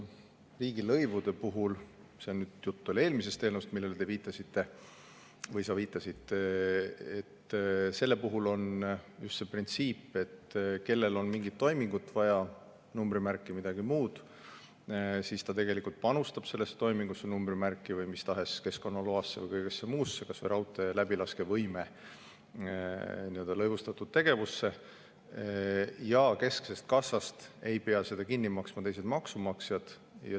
Riigilõivude puhul – jutt on nüüd eelmisest eelnõust, millele sa viitasid – on just see printsiip, et kellel on mingit toimingut vaja, numbrimärki või midagi muud, see panustab sellesse toimingusse, numbrimärki, keskkonnaloasse või mis tahes muusse lõivustatud tegevusse, kas või raudtee läbilaskevõimesse, ja kesksest kassast ei pea seda kinni maksma teised maksumaksjad.